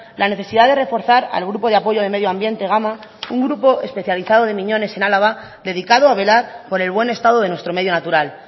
la necesidad de reforzar al grupo de apoyo de medio ambiente gama un grupo especializado de miñones en álava dedicado a velar por el buen estado de nuestro medio natural